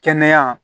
Kɛnɛya